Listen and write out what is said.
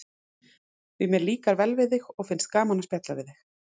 Því mér líkar vel við þig og finnst gaman að spjalla við þig.